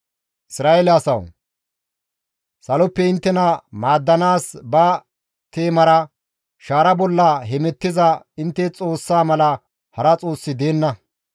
Isra7eele asawu! Saloppe inttena maaddanaas ba teemara shaara bolla hemettiza intte Xoossa mala hara Xoossi deenna.